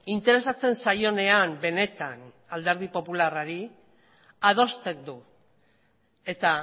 interesatzen zaionean benetan alderdi popularrari adosten du eta